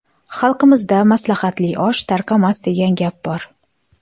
Xalqimizda maslahatli osh tarqamas, degan gap bor.